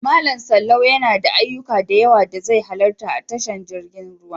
Malam Sallau yana da ayyuka da yawa da zai halarta a tashar jirgin ruwa.